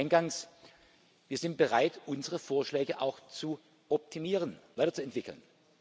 Ich sage eingangs Wir sind bereit, unsere Vorschläge auch zu optimieren, weiterzuentwickeln.